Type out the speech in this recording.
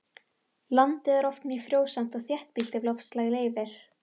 Landið er oft mjög frjósamt og þéttbýlt ef loftslag leyfir.